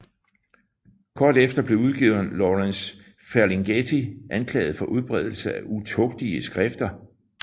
Kort efter blev udgiveren Lawrence Ferlinghetti anklaget for udbredelse af utugtige skrifter